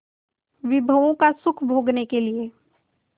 विभवों का सुख भोगने के लिए